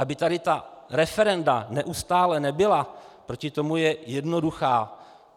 Aby tady ta referenda neustále nebyla, proti tomu je jednoduchá,